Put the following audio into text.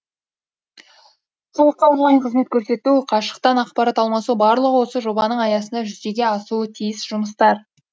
халыққа онлайн қызмет көрсету қашықтан ақпарат алмасу барлығы осы жобаның аясында жүзеге асуы тиіс жұмыстар